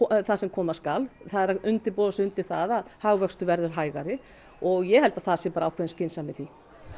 það sem koma skal það er að undirbúa sig undir það að hagvöxtur verður hægari og ég held að það sé bara ákveðin skynsemi í því